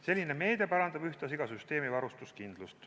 Selline meede parandab ühtlasi süsteemi varustuskindlust.